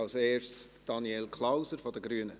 Als erster Daniel Klauser von den Grünen.